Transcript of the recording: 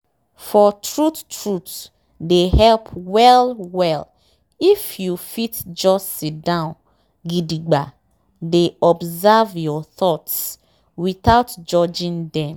for truthe truthe dey help well well if you fit just siddon gidigba dey observe your thoughts without judging dem.